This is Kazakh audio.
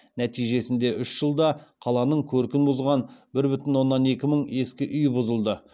нәтижесінде үш жылда қаланың көркін бұзған бір бүтін оннан екі мың ескі үй бұзылды